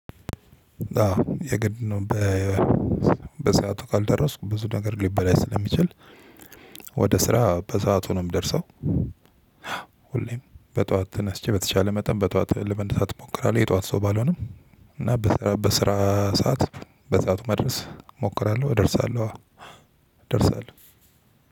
አዎ የግድ ነው። በሰአቱ ካልደረስኩ ብዙ ነገር ሊበላሽ ስለሚችል። ወደ ስራ በሰአቱ ነው ምደርሰው። ሁሌም በጧት ተነስቼ በተቻለ መጠን በጧት ለመነሳት እሞክራለሁ። የጧት ሰው ባልሆንም እና በስራ ሰዓት በ ሰዓት መድረስ እሞክራለው። እደርሳለሁ አወ እደርሳለው።